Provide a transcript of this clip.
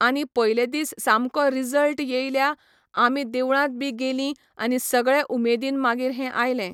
आनी पयले दीस सामको रिजल्ट येयल्या, आमी देवळांत बी गेलीं आनी सगळें उमेदीन मागीर हें आयले.